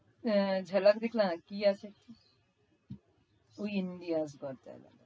ঝালাক দিখলা জা কি আছে? ওই India's got talent.